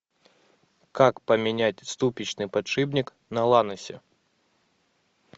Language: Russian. как поменять ступичный подшипник на ланосе